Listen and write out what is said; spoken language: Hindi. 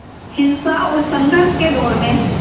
हिंसा और संघर्ष के दौर में